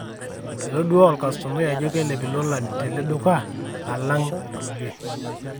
etodua olkastomai ajo keilep ilolan tele duka, alang ilkulie